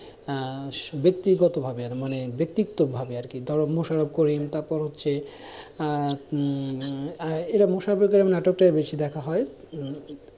হ্যাঁ, ব্যক্তিগতভাবে আর মানে ব্যক্তিত্বের ভাবে আর কি ধরো মুশারফ কোরিন, তারপর হচ্ছে আহ উম এটা মুশারফ কোরিন নাটকটায় বেশি দেখা হয়।